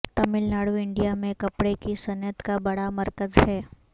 Tamil Nadu India میں کپڑے کی صنعت کا بڑا مرکز ہے